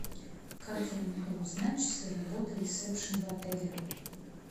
как я могу узнать часы работы ресепшен в отеле